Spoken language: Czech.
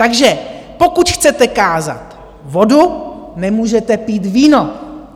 Takže pokud chcete kázat vodu, nemůžete pít víno.